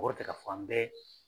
ka fan bɛɛ